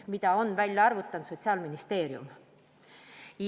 Selle on välja arvutanud Sotsiaalministeerium.